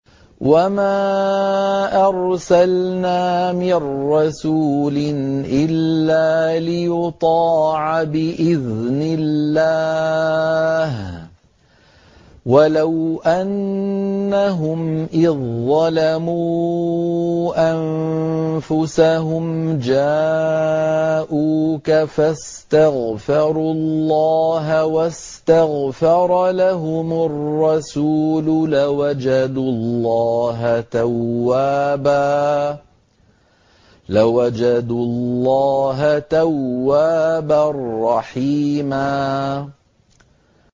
وَمَا أَرْسَلْنَا مِن رَّسُولٍ إِلَّا لِيُطَاعَ بِإِذْنِ اللَّهِ ۚ وَلَوْ أَنَّهُمْ إِذ ظَّلَمُوا أَنفُسَهُمْ جَاءُوكَ فَاسْتَغْفَرُوا اللَّهَ وَاسْتَغْفَرَ لَهُمُ الرَّسُولُ لَوَجَدُوا اللَّهَ تَوَّابًا رَّحِيمًا